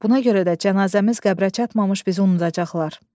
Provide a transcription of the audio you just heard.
Buna görə də cənazəmiz qəbrə çatmamış bizi unudacaqlar.